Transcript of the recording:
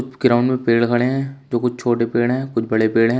Ground में पेड़ खड़े है जो कुछ छोटे पेड़ है कुछ बड़े पेड़ है।